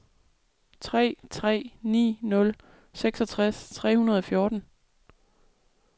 tre tre ni nul seksogtres tre hundrede og fjorten